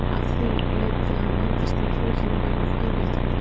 Af því leiddi að hann vandist því að hlutirnir væru of auðveldir fyrir hann.